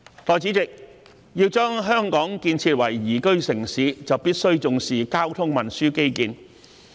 代理主席，要把香港建設為宜居城市，就必須重視交通運輸基建。